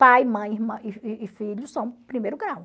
Pai, mãe e filho são primeiro grau.